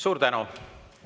Suur tänu!